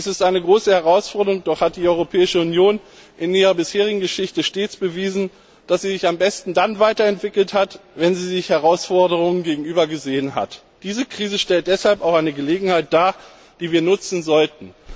Dies ist eine große Herausforderung, doch hat die Europäische Union in ihrer bisherigen Geschichte stets bewiesen, dass sie sich am besten dann weiterentwickelt hat, wenn sie Herausforderungen bewältigen musste. Diese Krise stellt deshalb auch eine Gelegenheit dar, die wir nutzen sollten.